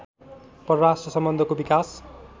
परराष्ट्र सम्बन्धको विकास